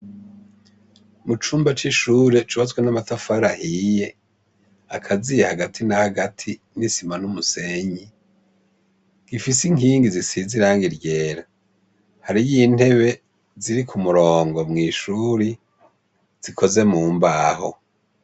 Mu cumba c'ishuri cubaswe n'amatafar ahiye, akaziye hagati nahagati n'isima n'umusenyi gifise inkingi zisizirangiryera hari y'intebe ziri ku murongo mu'ishuri zikoze mumbaho.